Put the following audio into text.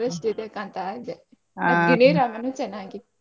ತುಂಬಾ interest ಇದೆ ಕಾಣ್ತಾ ಇದೆ ಗಿಣಿರಾಮ ನು ಚೆನ್ನಾಗಿತ್.